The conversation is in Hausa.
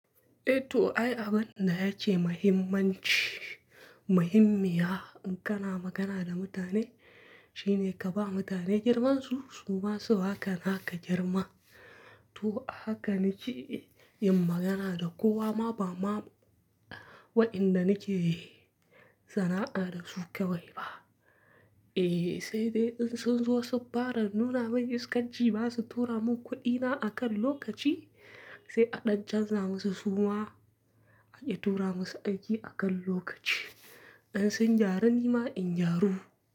Eh to ai, abin da ya ce muhimmanci, muhimmiya in kana magana da mutane shine ka ba mutane girmansu su ma su haka naka girma. To ahaka ni ke yin magana da kowa ma ba ma wa'inda ni ke sana'a da su kawai ba. Eh, sai dai in sun zo subba da nuna mani iskanci ba su tura mun kuɗina akan lokaci, sai a ɗan canza musu suma aƙi tura musu aiki akan lokaci. In sun gyaru ni ma in gyaru.